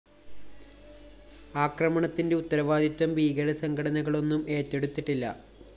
ആക്രമണത്തിന്റെ ഉത്തരവാദിത്വം ഭീകരസംഘടനകളൊന്നും ഏറ്റെടുത്തിട്ടില്ല